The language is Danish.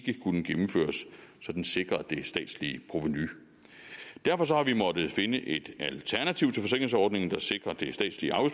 kunne gennemføres så den sikrede det statslige provenu derfor har vi måttet finde et alternativ til forsikringsordningen der sikrer det statslige